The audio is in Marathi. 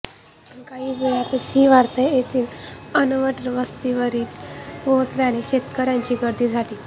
काही वेळातच ही वार्ता येथील अनवट वस्तीवर पोहचल्याने शेतकऱ्यांची गर्दी झाली